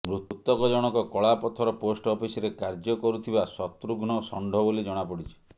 ମୃତକ ଜଣକ କଳାପଥର ପୋଷ୍ଟ ଅଫିସରେ କାର୍ୟ୍ୟ କରୁଥିବା ଶତ୍ରୁଘ୍ନ ଷଣ୍ଢ ବୋଲି ଜଣାପଡ଼ିଛି